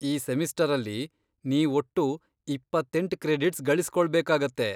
ಈ ಸೆಮಿಸ್ಟರಲ್ಲಿ ನೀವ್ ಒಟ್ಟು ಇಪ್ಪತ್ತೆಂಟ್ ಕ್ರೆಡಿಟ್ಸ್ ಗಳಿಸ್ಕೊಳ್ಬೇಕಾಗತ್ತೆ.